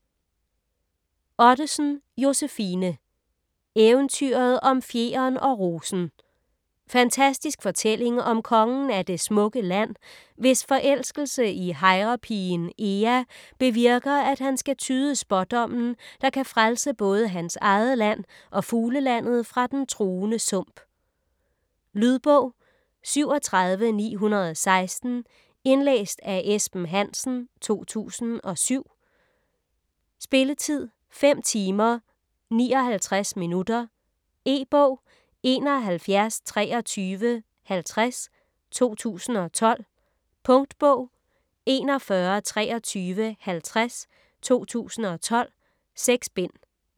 Ottesen, Josefine: Eventyret om fjeren og rosen Fantastisk fortælling om kongen af Det smukke Land, hvis forelskelse i hejrepigen Ea bevirker, at han skal tyde Spådommen, der kan frelse både hans eget land og Fuglelandet fra den truende Sump. Lydbog 37916 Indlæst af Esben Hansen, 2007. Spilletid: 5 timer, 59 minutter. E-bog 712350 2012. Punktbog 412350 2012. 6 bind.